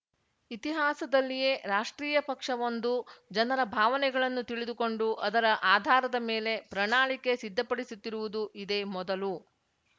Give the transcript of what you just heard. ಇತಿಹಾಸದಲ್ಲಿಯೇ ರಾಷ್ಟ್ರೀಯ ಪಕ್ಷವೊಂದು ಜನರ ಭಾವನೆಗಳನ್ನು ತಿಳಿದುಕೊಂಡು ಅದರ ಆಧಾರದ ಮೇಲೆ ಪ್ರಣಾಳಿಕೆ ಸಿದ್ಧಪಡಿಸುತ್ತಿರುವುದು ಇದೇ ಮೊದಲು